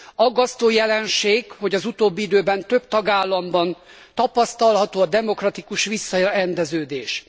Aggasztó jelenség, hogy az utóbbi időben több tagállamban tapasztalható a demokratikus visszarendeződés.